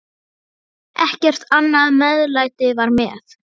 Ekkert annað meðlæti var með.